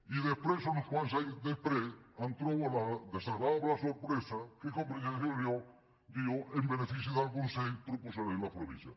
i després uns quants anys després em trobo la desagradable sorpresa que convergència i unió diu en benefici del consens proposarem les províncies